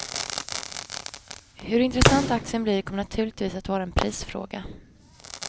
Hur intressant aktien blir kommer naturligtvis att vara en prisfråga.